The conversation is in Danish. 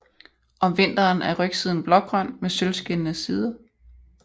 Om vinteren er rygsiden blågrøn med sølvskinnende sider